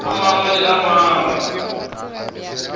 a mangwe le a mangwe